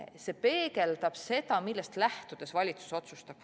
See peegeldab seda, millest lähtudes valitsus otsustab.